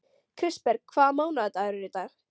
Kristberg, hvaða mánaðardagur er í dag?